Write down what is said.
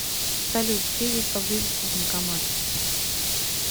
салют где есть поблизости банкомат